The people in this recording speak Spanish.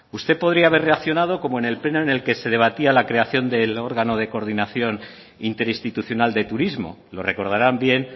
usted podría haber reaccionado como en el pleno en el que se debatía la creación del órgano de coordinación interinstitucional de turismo lo recordarán bien